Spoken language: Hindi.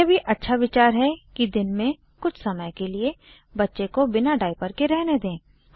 यह भी अच्छा विचार है कि दिन में कुछ समय के लिए बच्चे को बिना डाइपर के रहने दें